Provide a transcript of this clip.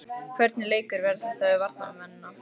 Hvernig leikur verður þetta fyrir varnarmennina?